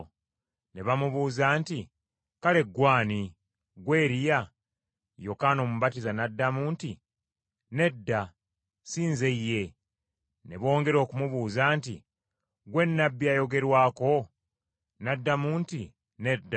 Ne bamubuuza nti, “Kale ggwe ani? Ggwe Eriya?” Yokaana Omubatiza n’addamu nti, “Nedda, si nze ye.” Ne bongera okumubuuza nti, “Ggwe Nnabbi ayogerwako?” N’addamu nti, “Nedda.”